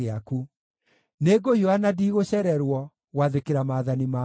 Nĩngũhiũha na ndigũcererwo gwathĩkĩra maathani maku.